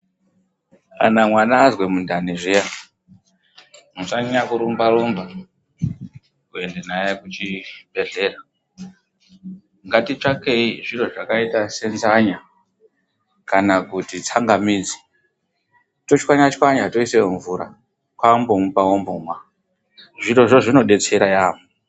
Kana mwana azwe mundani zviya musanyanya kurumba rumba kuenda naye kuchibhehlera. Ngatitsvakei zviro zvakaita senzanya kana kuti tsangamidzi tochwanya chwanya toisa mumvura kwakumbomupa ombomwa. Zvirozvo zvinodetsera yaamho.